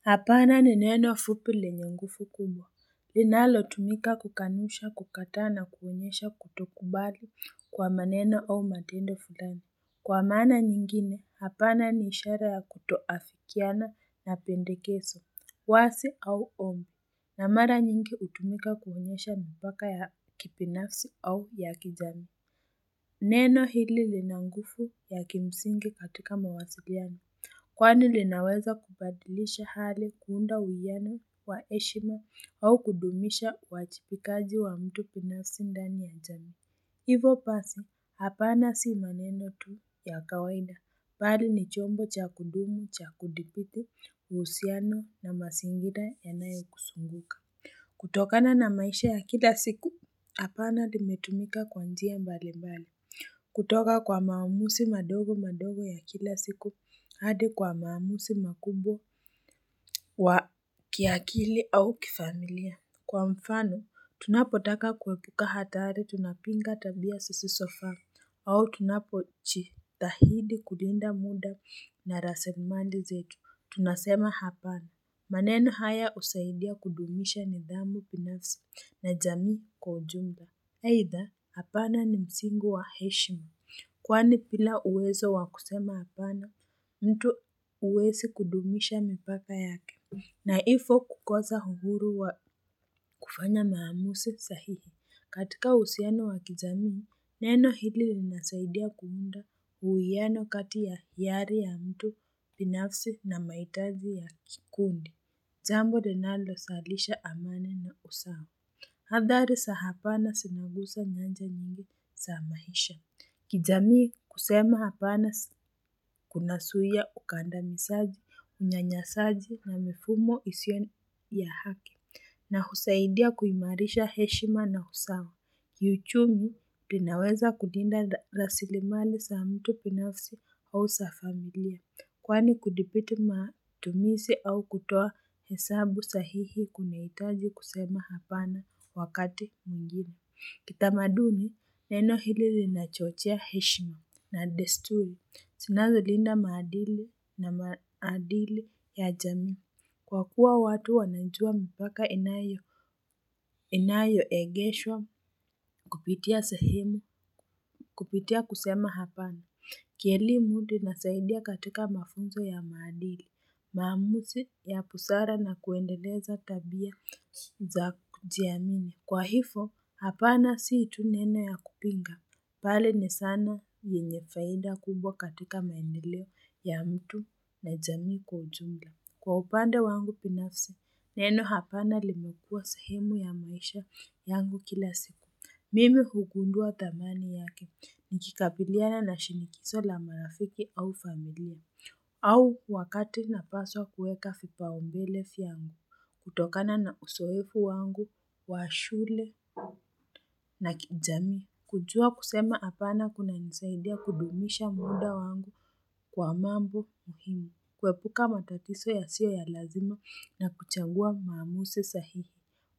Hapana ni neno fupi lenye nguvu kubwa, linalo tumika kukanusha kukatana kuhonyesha kutokumbali kwa maneno au matendo fulani. Kwa maana nyingine, hapana niishara ya kutoafikiana na pendekezo, wasi au ombi, na mara nyingi utumika kuhunyesha mbaka ya kipinasu au ya kijani. Neno hili linanguvu ya kimsingi katika mawasiliani. Kwani linaweza kupadilisha hali kuunda uyana wa heshima au kudumisha wachipikaji wa mtu punasindani ya jani. Hivo basi, hapana si maneno tu ya kawaida. Bali ni chombo cha kudumu, cha kudipiku, usiano na masingida enaye kusunguka. Kutokana na maisha ya kila siku, hapana limetumika kwa njia mbali mbali. Kutoka kwa maamusi madogo madogo ya kila siku hadi kwa maamusi makubwa wa kiakili au kifamilia Kwa mfano tunapotaka kuwepuka hatari tunapinga tabia sisi sofa au tunapo jitahidi kulinda muda na rasimali zetu tunasema hapana Manenu haya usaidia kudumisha ni dhambo pinafsi na jami kwa ujumba Haitha, hapana ni msingu wa heshimi. Kwani pila uwezo wakusema hapana, mtu uwezi kudumisha mpaka yake. Naifo kukoza hughuru wa kufanya maamuse sahihi. Katika usiano wakizamini, neno hili nasaidia kuunda huyiano kati ya hiari ya mtu pinafsi na maitazi ya kikundi. Jambo denalo salisha amani na usawo. Hadhari sa hapana sinagusa nyanja nyingi saamahisha. Kijamii kusema hapana kuna suiya ukanda nisaji unyanyasaji na mfumo ision ya hake. Na husaidia kuimarisha heshima na husawa. Kiyuchumi tinaweza kundinda rasilimali sa mtu binafsi au safamilia. Kwani kudipiti matumisi au kutoa hesabu sahihi kuna itaji kusema hapana wakati mwigine. Kitamaduni, neno hili linachochia heshima na destuli. Sina zolinda maadili na maadili ya jami. Kwa kuwa watu wanajua mpaka inayo egesho, kupitia sahimi, kupitia kusema hapana. Kielimuli na saidia katika mafunzo ya maadili. Maamuzi ya busara na kuendeleza tabia za kujia mimi. Kwa hifo, hapana si itu nena ya kupinga. Pale ni sana yenyefainda kubwa katika maenileo ya mtu na jamii kwa ujumla. Kwa upanda wangu binafsa, neno hapana limekua sahemu ya maisha yangu kila siku. Mimi hukundua tamani yake ni kikapiliana na shinikiso la marafiki au familie. Au wakati napaswa kueka vipaombele yangu, kutokana na usoefu wangu, washule na kijamii. Kujua kusema hapana kuna nisaidia kudumisha mwunda wangu kwa mambo muhimu, kuepuka matatiso ya sio ya lazima na kuchagua mamuse sahiri.